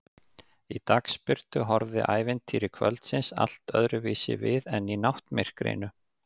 Í dagsbirtu horfði ævintýri kvöldsins allt öðruvísi við en í náttmyrkrinu.